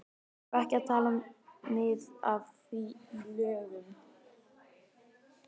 Þarf ekki að taka mið af því í lögunum?